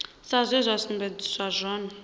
sa zwe zwa sumbedziswa zwone